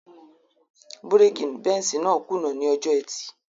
Búrèkì Benz náà kùnà ní ọjọ́ ẹtì